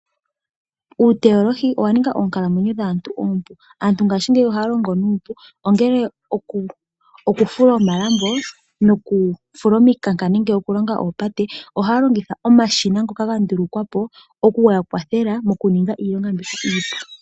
Uuteyolohi owa ninga oonkalamwenyo dhaantu oompu. Aantu ngaashi ngeyi ohaya longo nuupu ongele oku, oku fula omalambo noku fula omikanka nenge oku longa oopate ohaya longitha omashina ngono gandulukwa po okuya kwathela mokuninga iilonga mbi iipu.